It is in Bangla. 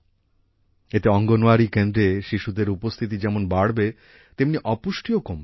এতে অঙ্গনওয়াড়ি কেন্দ্রে শিশুদের উপস্থিতি যেমন বাড়বে তেমনি অপুষ্টিও কমবে